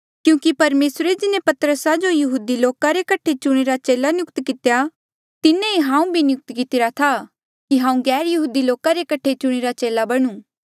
क्यूंकि परमेसरे जिन्हें पतरसा जो यहूदी लोका रे कठे चुणिरा चेला नियुक्त कितेया तिन्हें ई हांऊ भी नियुक्त कितिरा था कि हांऊँ गैरयहूदी लोका रे कठे चुणिरा चेला बणुं